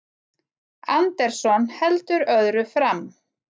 Anderson heldur öðru fram